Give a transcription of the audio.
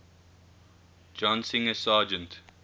john singer sargent